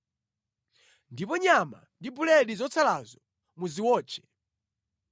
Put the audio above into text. Ndipo nyama ndi buledi zotsalazo, muziwotche.